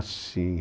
Ah, sim.